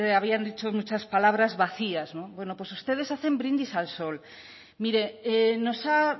habían dicho muchas palabras vacías no bueno pues ustedes hacen brindis al sol mire nos ha